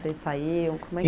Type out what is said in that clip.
Vocês saíam, como é